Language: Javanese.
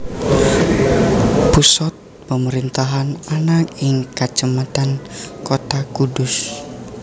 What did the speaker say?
Pusat pemerintahan ana ing Kacamatan Kota Kudus